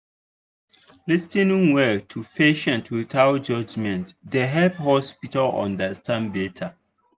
lis ten ing well to patients without judgment dey help hospital understand better.